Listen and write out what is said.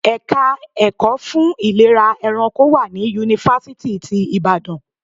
Ẹ̀ka ẹ̀kọ́ fún ìlera ẹranko wà ní Yunifásítì ti Ìbàdàn.